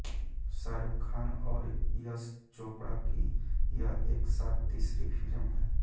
शाहरुख खान और यश चोपड़ा की यह एक साथ तीसरी फिल्म है